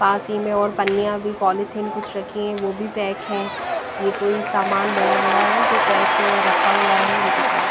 पास ही में और पन्निया भी पॉलीथिन कुछ रखी हैं वो भी पैक हैं ये कोई समान बरा बरा है जो पैक रखा हुआ है उनके पास।